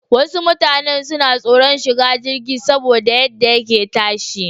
Wasu mutanan suna tsoran shiga jirgi saboda yadda yake tashi.